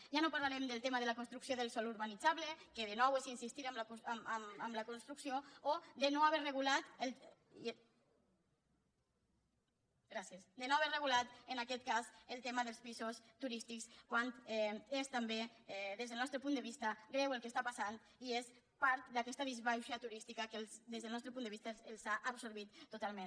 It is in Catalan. ja no parlarem del tema de la construcció del sòl urbanitzable que de nou és insistir en la construcció o de no haver regulat en aquest cas el tema dels pisos turístics quan és també des del nostre punt de vista greu el que està passant i és part d’aquesta disbauxa turística que des del nostre punt de vista els ha absorbit totalment